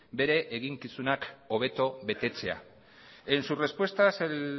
bere eginkizunak hobeto betetzea en sus respuestas el